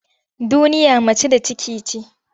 Duniya mace da ciki ce.